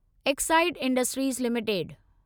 Exide Industries limited